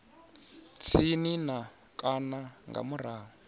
tsini na kana nga murahu